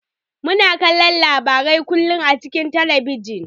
Muna kallon labarai kullun a cikin talabijin.